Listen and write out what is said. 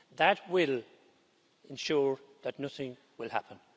That will ensure that nothing will happen.